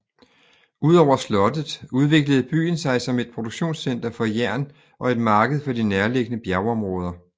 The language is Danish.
Udover slottet udviklede byen sig som et produktionscenter for jern og et marked for de nærliggende bjergområder